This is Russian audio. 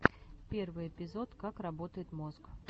первый эпизод как работает мозг